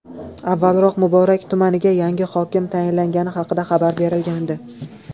Avvalroq Muborak tumaniga yangi hokim tayinlangani haqida xabar berilgandi .